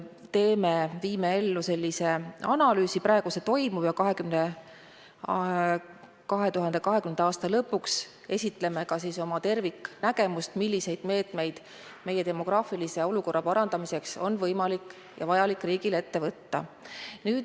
Me viime läbi asjaomase analüüsi, praegu seda tehakse ja 2020. aasta lõpuks esitleme ka oma terviknägemust, milliseid meetmeid meie demograafilise olukorra parandamiseks on võimalik ja vajalik riigil ette võtta.